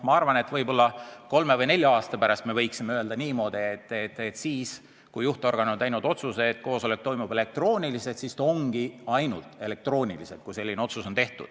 Ma arvan, et võib-olla kolme või nelja aasta pärast me võiksime öelda niimoodi, et kui juhtorgan on teinud otsuse, et koosolek toimub elektrooniliselt, siis ta toimub ainult elektrooniliselt.